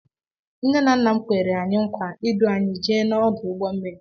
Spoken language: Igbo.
Nne na nna m Kwèrè anyị nkwa idu anyị jee na ọdụ ụgbọ mmiri.